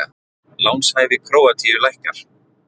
Lánshæfi Króatíu lækkar